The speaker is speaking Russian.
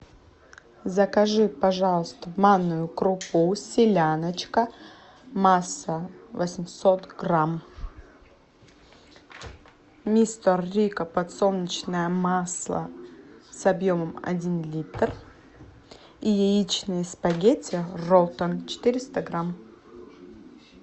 закажи пожалуйста манную крупу селяночка масса восемьсот грамм мистер рикко подсолнечное масло с объемом один литр и яичные спагетти ролтон четыреста грамм